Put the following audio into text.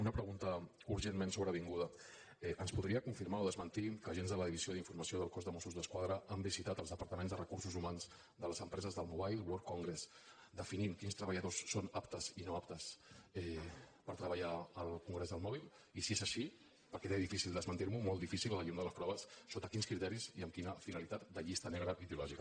una pregunta urgentment sobrevinguda ens podria confirmar o desmentir que agents de la divisió d’informació del cos de mossos d’esquadra han visitat els departaments de recursos humans de les empreses del mobile world congress definint quins treballadors són aptes i no aptes per treballar al congrés del mòbil i si és així perquè té difícil desmentir m’ho molt difícil a la llum de les proves sota quins criteris i amb quina finalitat de llista negra ideològica